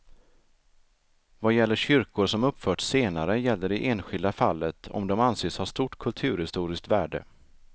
Vad gäller kyrkor som uppförts senare gäller det enskilda fallet om de anses ha stort kulturhistoriskt värde.